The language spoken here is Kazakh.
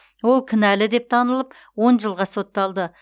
ол кінәлі деп танылып он жылға сотталды